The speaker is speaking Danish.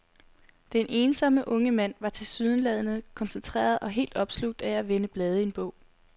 Den ensomme unge mand var tilsyneladende koncentreret og helt opslugt af at vende blade i en bog.